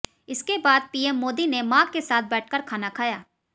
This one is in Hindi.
इसके बाद पीएम मोदी ने मां के साथ बैठकर खाना खाया